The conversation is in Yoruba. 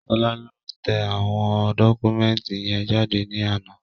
Ṣọlá lọ tẹ àwọn dọ́kúmẹ̀ntì yẹn jáde ní àná